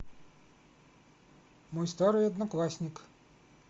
мой старый одноклассник